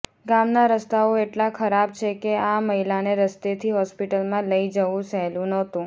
ગામના રસ્તાઓ એટલા ખરાબ છે કે આ મહિલાને રસ્તેથી હોસ્પિટલમાં લઈ જવું સહેલું નહોતું